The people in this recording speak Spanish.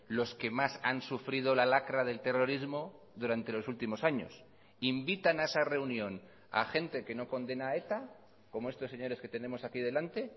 los que más han sufrido la lacra del terrorismo durante los últimos años invitan a esa reunión a gente que no condena a eta como estos señores que tenemos aquí delante